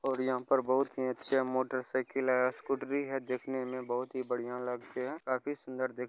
यहां पे बहुत ही अच्छे मोटर साइकिल है स्कूटर भी है देखने मे बहुत ही बढ़िया लगते है काफी सुंदर देख --